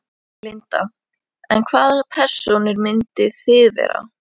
Linda: En hvaða persónur myndið þið vera?